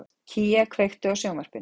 Kía, kveiktu á sjónvarpinu.